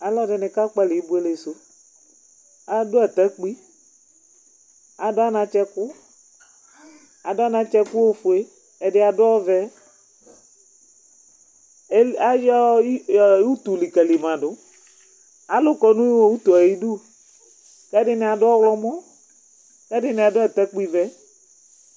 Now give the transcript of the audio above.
Alu ɛdini ka kpalɛ ibuele su adu atakpi, adu anatsɛ ku ofue, ɛdini adu ɔvɛ ayɔ utu li ka li ma du, alu kɔ nɔ odu yɛ ayi du, kɛ di ni adu ɔwlɔmɔ kɛ di ni adu atakpi vɛ